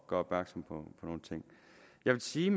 gøre opmærksom på nogle ting jeg vil sige